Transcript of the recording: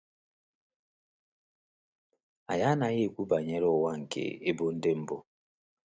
Anyị anaghị ekwu banyere ụwa nke ebo ndị mbụ.